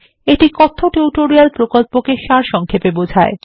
এটি কথ্য টিউটোরিয়াল প্রকল্পকে সারসংক্ষেপে বোঝায়